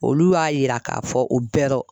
Olu y'a yira k'a fɔ o bɛrɔ